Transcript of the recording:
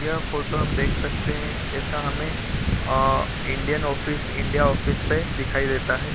यह फोटो हम देख सकते है ऐसा हमें आ इंडियन ऑफिस इंडिया ऑफिस पे दिखाई देता है।